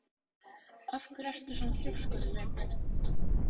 Af hverju ertu svona þrjóskur, Vébjörn?